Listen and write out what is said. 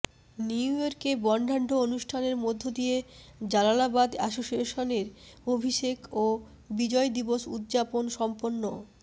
নিউইয়র্কে বর্ণাঢ্য অনুষ্ঠানের মধ্য দিয়ে জালালাবাদ এসোসিয়েশনের অভিষেক ও বিজয় দিবস উদযাপন সম্পন্ন